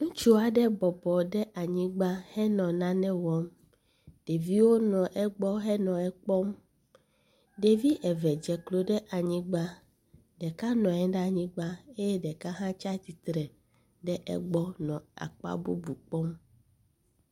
Ŋutsu aɖe bɔbɔ ɖe anyigba henɔ nane wɔm. Ɖeviwo nɔ egbɔ henɔ ekpɔm. Ɖevi eve dzeklo ɖe anyigba. Ɖeka nɔ anyigba eye ɖeka hã tsi atsitre ɖe egbɔ nɔ akpa bubu aɖe kpɔm.